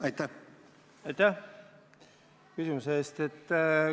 Aitäh küsimuse eest!